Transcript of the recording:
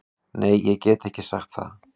Nei ég get ekki sagt það.